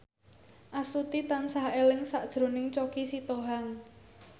Astuti tansah eling sakjroning Choky Sitohang